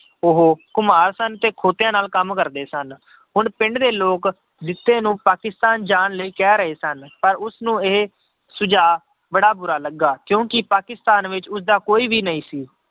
ਉਹ ਘੁਮਾਰ ਸਨ ਤੇ ਖੋਤਿਆਂ ਨਾਲ ਕੰਮ ਕਰਦੇ ਸਨ, ਹੁਣ ਪਿੰਡ ਦੇ ਲੋਕ ਜਿੱਤੇ ਨੂੰ ਪਾਕਿਸਤਾਨ ਜਾਣ ਲਈ ਕਹਿ ਰਹੇ ਸਨ, ਪਰ ਉਸਨੂੰ ਇਹ ਸੁਝਾਅ ਬੜਾ ਬੁਰਾ ਲੱਗਾ ਕਿਉਂਕਿ ਪਾਕਿਸਤਾਨ ਵਿੱਚ ਉਸਦਾ ਕੋਈ ਵੀ ਨਹੀਂ ਸੀ।